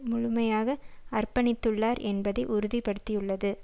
முழுமையாக அர்ப்பணித்துள்ளார் என்பதை உறுதிப்படுத்தியுள்ளது